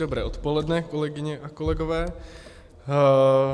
Dobré odpoledne, kolegyně a kolegové.